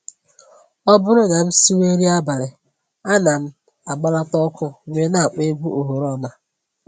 Ọ bụrụ na m siwe nri abalị, ana m agbalata ọkụ wee na-akpọ egwu oghoroma